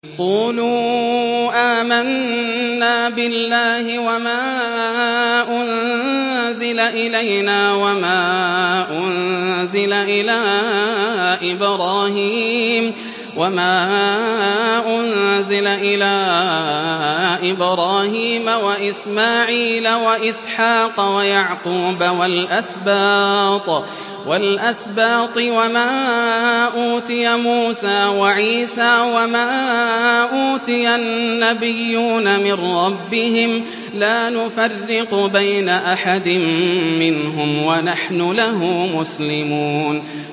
قُولُوا آمَنَّا بِاللَّهِ وَمَا أُنزِلَ إِلَيْنَا وَمَا أُنزِلَ إِلَىٰ إِبْرَاهِيمَ وَإِسْمَاعِيلَ وَإِسْحَاقَ وَيَعْقُوبَ وَالْأَسْبَاطِ وَمَا أُوتِيَ مُوسَىٰ وَعِيسَىٰ وَمَا أُوتِيَ النَّبِيُّونَ مِن رَّبِّهِمْ لَا نُفَرِّقُ بَيْنَ أَحَدٍ مِّنْهُمْ وَنَحْنُ لَهُ مُسْلِمُونَ